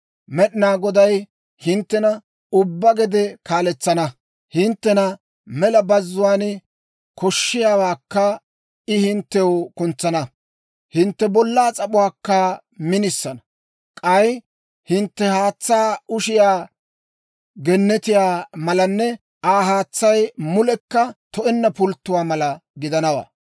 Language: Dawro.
Med'inaa Goday hinttena ubbaa gede kaaletsana; hinttena mela bazzuwaan koshshiyaawaakka I hinttew kuntsana. Hintte bollaa s'ap'uwaakka minisana. K'ay hintte haatsaa ushiyaa gennetiyaa malanne Aa haatsay mulekka to"enna pulttuwaa mala gidanawaa.